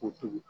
Ko tobi